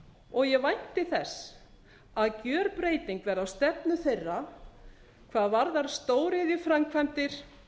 og ég vænti þess að gjörbreyting verði á stefnu þeirra hvað varðar stóriðjuframkvæmdir